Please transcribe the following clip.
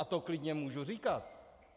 A to klidně můžu říkat.